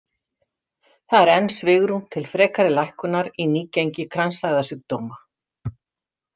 Það er enn svigrúm til frekari lækkunar í nýgengi kransæðasjúkdóma.